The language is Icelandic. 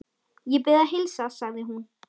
Ég bið að heilsa, sagði hún.